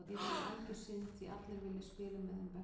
Mér finnst það algjör synd því allir vilja spila með þeim bestu.